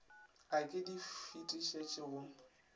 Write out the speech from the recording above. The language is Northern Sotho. a ke di fetišetše go